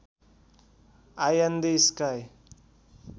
I in the sky